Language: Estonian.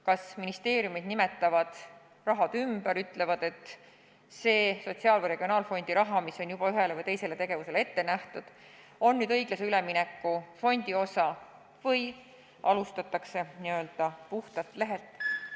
Kas ministeeriumid nimetavad raha otstarbe ümber ja ütlevad, et see sotsiaal- või regionaalfondi raha, mis on juba ühele või teisele tegevusele ette nähtud, on nüüd hoopis õiglase ülemineku fondi osa, või alustatakse n-ö puhtalt lehelt?